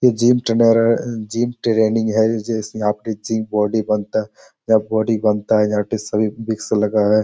ये gym trainer gym training है जिसमे आपके जिम बॉडी बनता है | यहाँ पे बॉडी बनता है लगा है।